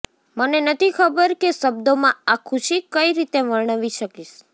મને નથી ખબર કે શબ્દોમાં આ ખુશી કઈ રીતે વર્ણવી શકીશ